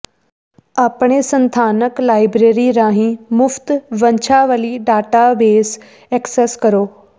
ਆਪਣੇ ਸਥਾਨਕ ਲਾਇਬ੍ਰੇਰੀ ਰਾਹੀਂ ਮੁਫਤ ਵੰਸ਼ਾਵਲੀ ਡੇਟਾਬੇਸ ਐਕਸੈਸ ਕਰੋ